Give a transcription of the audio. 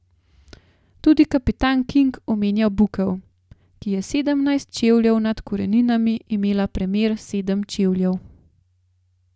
Tudi kapitan King omenja bukev, ki je sedemnajst čevljev nad koreninami imela premer sedem čevljev.